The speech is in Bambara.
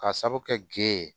Ka sabu kɛ ge ye